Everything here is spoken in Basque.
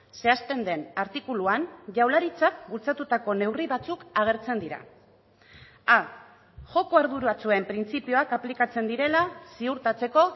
zehazten den artikuluan jaurlaritzak bultzatutako neurri batzuk agertzen dira a joko arduratsuen printzipioak aplikatzen direla ziurtatzeko